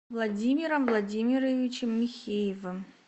владимиром владимировичем михеевым